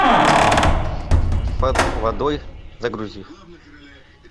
под водой загрузи